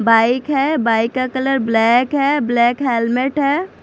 Bike है bike का colour black है ब्लैक हेलमेट है।